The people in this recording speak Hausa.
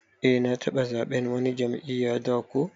Eh na taba zaɓen wani jam'iyya da ko.